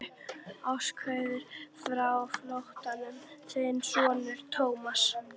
Ástarkveðjur frá flóttanum, þinn sonur Thomas.